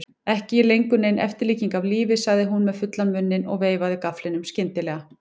Ekki lengur nein eftirlíking af lífi, sagði hún með fullan munninn og veifaði gafflinum skyndilega.